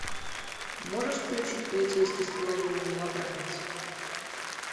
можешь включить полицейский с половиной новобранец